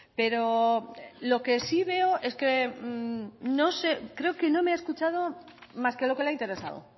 pero lo que sí veo es que no sé creo que no me ha escuchado más que lo que le ha interesado